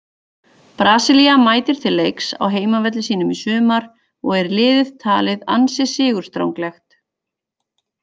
Brasilía mætir til leiks á heimavelli sínum í sumar og er liðið talið ansi sigurstranglegt.